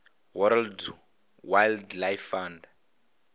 world wildlife fund